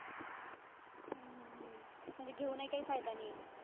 हम्म हम्म हम्म म्हणजे घेऊनही काही फायदा नाहीये.